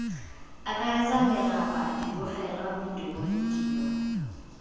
akaretsang meraba dibogelwa medumo vidio